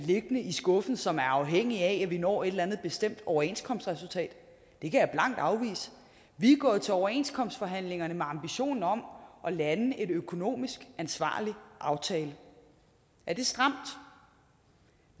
i skuffen som er afhængig af at vi når et eller andet bestemt overenskomstresultat det kan jeg blankt afvise vi er gået til overenskomstforhandlingerne med ambitionen om at lande en økonomisk ansvarlig aftale er det stramt